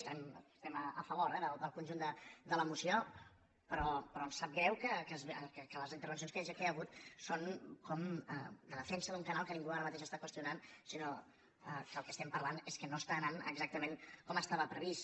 estem a favor eh del conjunt de la moció però ens sap greu que les intervencions que hi ha hagut són com de defensa d’un canal que ningú ara mateix està qüestionant sinó que el que estem parlant és que no està anant exactament com estava previst